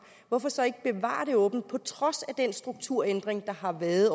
hvorfor så ikke bevare det åbent på trods af den strukturændring der har været